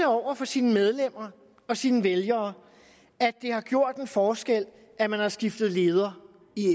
over for sine medlemmer og sine vælgere at det har gjort en forskel at man har skiftet leder